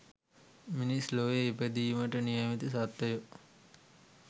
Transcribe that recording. මිනිස් ලොව ඉපදීමට නියමිත සත්වයො